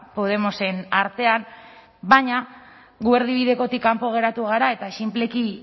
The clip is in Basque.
podemosen artean baina gu erdibidekotik kanpo geratu gara eta sinpleki